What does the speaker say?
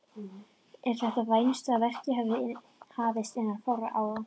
Er þess vænst að verkið geti hafist innan fárra ára.